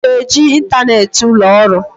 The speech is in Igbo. Ị na-eji ịntanetị ụlọ ọrụ?